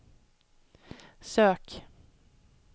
sök